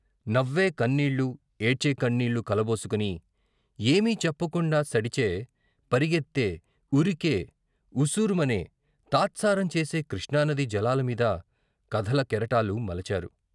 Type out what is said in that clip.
నవ్వే కన్నీళ్ళు ఏడ్చే కన్నీళ్ళు కలబోసుకుని, ఏమీ చెప్పకుండా సడిచే, పరిగెత్తే, ఉరికే, ఉసూరుమనే, తాత్సారం చేసే కృష్ణానదీ జలాలమీద కథల కెరటాలు మలచారు.